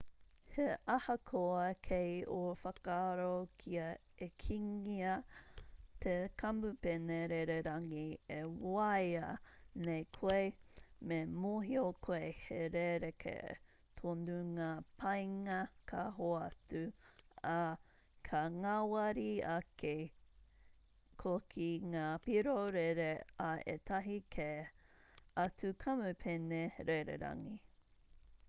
he ahakoa kei ō whakaaro kia ekengia te kamupene rererangi e waia nei koe me mōhio koe he rerekē tonu ngā painga ka hoatu ā ka ngāwari ake hoki ngā piro rere a ētahi kē atu kamupene rererangi